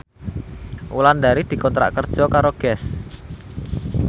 Wulandari dikontrak kerja karo Guess